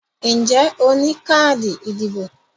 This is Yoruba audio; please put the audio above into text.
Ǹjẹ́ o ní káàdì ìdìbò?